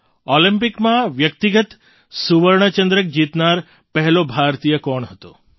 ઑલિમ્પિકમાં વ્યક્તિગત સુવર્ણ ચંદ્રક જીતનાર પહેલો ભારતીય કોણ હતો